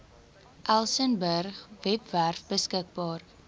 elsenburg webwerf beskikbaar